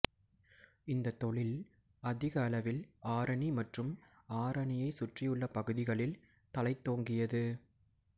இந்த தொழில் அதிக அளவில் ஆரணி மற்றும் ஆரணியை சுற்றியுள்ள பகுதிகளில் தழைத்தோங்கியது